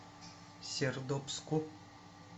сердобску